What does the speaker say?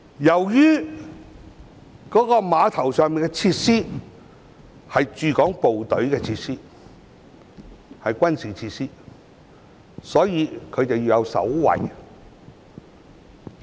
由於碼頭上的設施是駐港部隊所有，屬軍事設施，所以要有守衞。